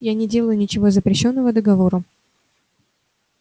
я не делаю ничего запрещённого договором